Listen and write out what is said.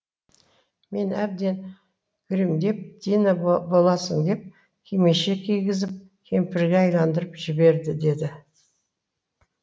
мені әбден гримдеп дина боласың деп кимешек кигізіп кемпірге айналдырып жіберді деді